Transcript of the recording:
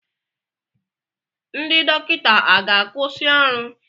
Ndị dọkịta a ga-akwusi ọrụ?